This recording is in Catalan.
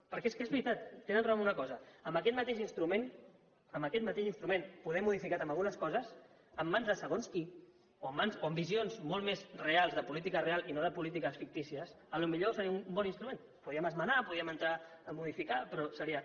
perquè és que és veritat tenen raó en una cosa aquest mateix instrument aquest mateix instrument poder modificat en algunes coses en mans de segons qui o amb visions molt més reals de política real i no de polítiques fictícies potser seria un bon instrument el podríem esmenar el podríem entrar a modificar però ho seria